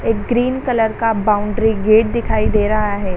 एक green colour का boundary gate दिखाई दे रहा हे |